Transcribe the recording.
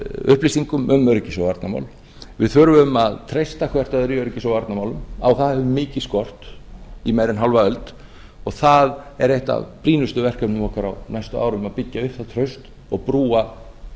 upplýsingum um öryggis og varnarmál við þurfum að treysta hvert öðru í öryggis og varnarmálum á það hefur mikið skort í meira en hálfa öld og það er eitt af brýnustu verkefnum okkar á næstu árum að byggja upp það traust og brúa